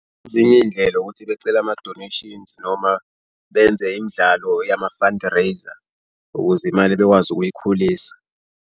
Ezinye iy'ndlela ukuthi becela amadoneshini noma benze imidlalo yama-fundraiser ukuze imali bekwazi ukuyikhulisa.